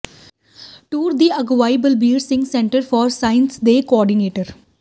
tour ਦੀ ਅਗਵਾਈ Balbir Singh centre for sciences ਦੇ ਕੋਆਰਡੀਨੇਟਰ ਡਾ